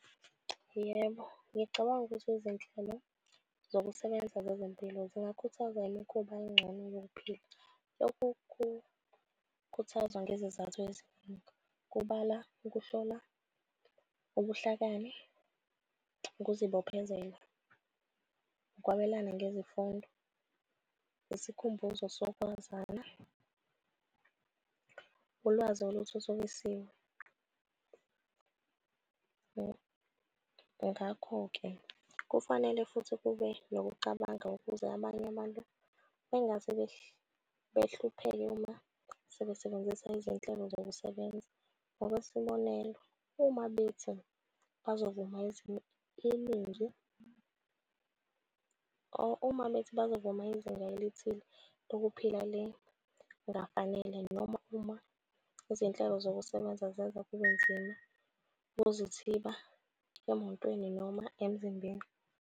Yebo, ngicabanga ukuthi izinhlelo zokusebenza zezempilo zingakhuthazwa imikhuba engcono yokuphila. Lokukhuthazwa ngezizathu eziningi. Kubala ukuhlola, ubuhlakani, ukuzibophezela, ukwabelana ngezifundo, yisikhumbuzo sokwazana, ulwazi oluthuthukisiwe. Ngakho-ke kufanele futhi kube nokucabanga ukuze abanye abantu bengase behlupheke uma sebesebenzisa izinhlelo zokusebenza. Ngokwesibonelo, uma bethi, bazovuma iningi or uma bethi bazovuma izinga elithile lokuphila noma uma izinhlelo zokusebenza zenza kube nzima ukuzithiba emotweni noma emzimbeni.